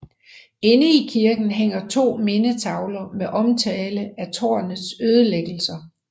Inde i kirken hænger 2 mindetavler med omtale af tårnets ødelæggelser